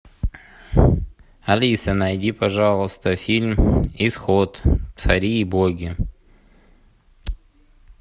алиса найди пожалуйста фильм исход цари и боги